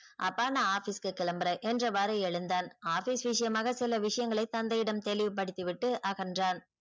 அப்பா நான் office கு கிளம்புறன் என்றவாரு எழுந்தான் office விஷியமாக சில விஷியங்களை தந்தையிடம் தெளிவுப்படுத்தி விட்டு அகன்றான்.